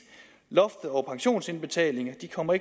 loftet over pensionsindbetalinger ikke kommer